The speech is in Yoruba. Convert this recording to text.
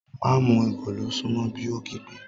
Má mu èkòló sún mọ́ bí, ó kígbe